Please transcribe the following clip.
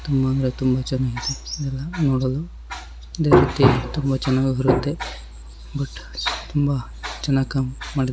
ತುಂಬಾ ಅಂದ್ರೆ ತುಂಬಾ ಚೆನ್ನಾಗಿ ಇದೆ. ನೋಡಲು ಅದೇ ರೀತಿ ತುಂಬಾ ಚೆನ್ನಾಗಿ ಇರುತ್ತೆ ಬಟ್ ತುಂಬಾ ಚೆನ್ನಾಗಿ ಕಮ್ ಮಾಡಿದ್ --